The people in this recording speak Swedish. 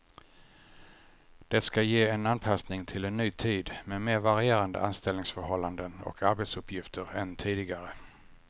Det ska ge en anpassning till en ny tid med mer varierande anställningsförhållanden och arbetsuppgifter än tidigare.